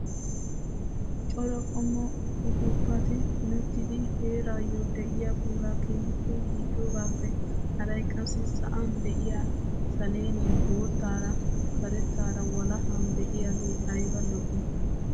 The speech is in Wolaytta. Cora qommo upuupati punettidi heraayoo de'iyaa puulaa keehippe gujjogaappe haray qassi sa'an de'iyaa saleenay boottaara karettaara walahan de'iyaagee ayba lo"ii!